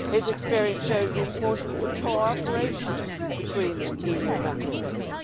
His experience shows the importance of cooperation between EU Member States.